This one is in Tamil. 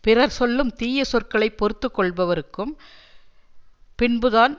பிறர் சொல்லும் தீய சொற்களை பொறுத்து கொள்பவருக்கும் பின்புதான்